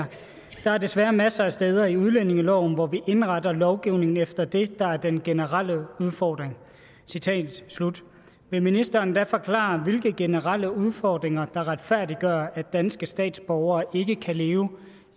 der er desværre masser af steder i udlændingeloven hvor vi indretter lovgivning efter det der er den generelle udfordring vil ministeren da forklare hvilke generelle udfordringer der retfærdiggør at danske statsborgere ikke kan leve